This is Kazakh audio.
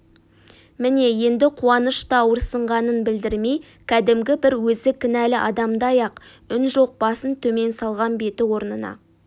міне енді қуаныш та ауырсынғанын білдірмей кәдімгі бір өзі кінәлі адамдай-ақ үн жоқ басын төмен салған беті орнына